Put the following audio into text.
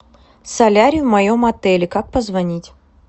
солярий в моем отеле как позвонить